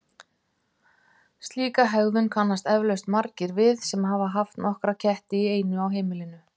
Slíka hegðun kannast eflaust margir við sem hafa haft nokkra ketti í einu á heimilinu.